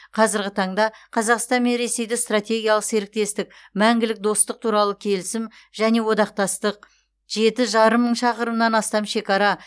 қазірғі таңда қазақстан мен ресейді стратегиялық серіктестік мәңгілік достық туралы келісім және одақтастық жеті жарым мың шақырымнан астам шекара